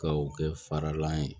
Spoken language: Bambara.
Ka o kɛ faralan ye